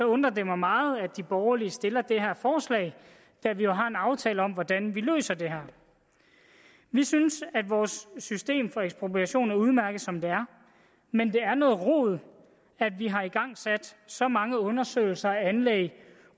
undrer det mig meget at de borgerlige stiller det her forslag da vi jo har en aftale om hvordan vi løser det her vi synes at vores system for ekspropriation er udmærket som det er men det er noget rod at vi har igangsat så mange undersøgelser af anlæg